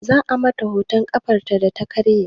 Za a mata hoton ƙafarta data karye